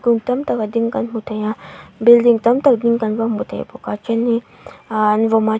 kung tam tak a ding kan hmu thei a building tam tak ding kan va hmu thei bawk a ṭhen hi â an vawm a--